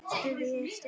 spurði ég Stjána.